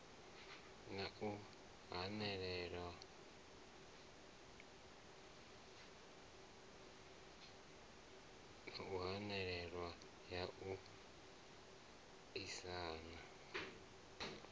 na hahelelo ya u aisana